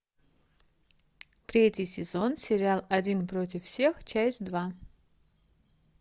третий сезон сериал один против всех часть два